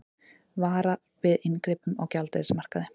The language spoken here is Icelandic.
Varar við inngripum á gjaldeyrismarkaði